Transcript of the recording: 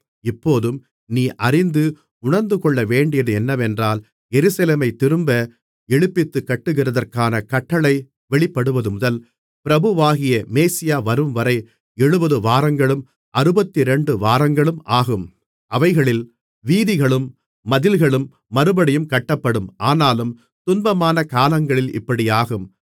இப்போதும் நீ அறிந்து உணர்ந்துகொள்ளவேண்டியது என்னவென்றால் எருசலேமைத் திரும்ப எழுப்பித்துக்கட்டுகிறதற்கான கட்டளை வெளிப்படுவதுமுதல் பிரபுவாகிய மேசியா வரும்வரை ஏழு வாரங்களும் அறுபத்திரண்டு வாரங்களும் ஆகும் அவைகளில் வீதிகளும் மதில்களும் மறுபடியும் கட்டப்படும் ஆனாலும் துன்பமான காலங்களில் இப்படியாகும்